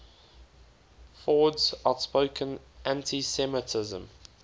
ford's outspoken anti semitism